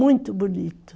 Muito bonito.